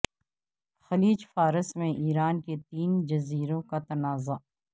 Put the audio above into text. خلیج فارس میں ایران کے تین جزیروں کا تنازع